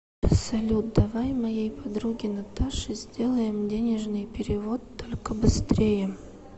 салют давай моей подруге наташе сделаем денежный перевод только быстрее